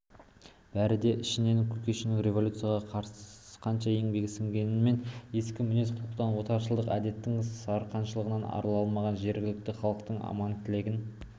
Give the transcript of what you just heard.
бәрі де ішінен кушекин революцияға қанша еңбегі сіңгенмен ескі мінез-құлықтан отаршылдық әдеттің сарқыншағынан арыла алмаған жергілікті халықтың арман-тілегін